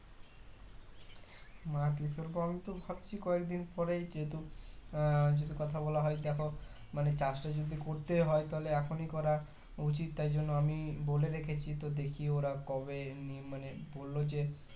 মাটি ফেলবো আমিতো ভাবছি কয়েকদিন পরে যেহুতু আহ যদি কথা বলা হয় দেখো মানে চাষটা যদি করতে হয় তাহলে এখনই করা উচিত তাই জন্য আমি বলে রেখেছি তো দেখি ওরা কবে ই মানে বললো যে